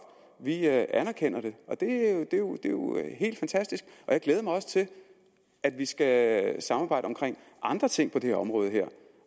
vi anerkender det og det er jo helt fantastisk jeg glæder mig også til at vi skal samarbejde om andre ting på det her område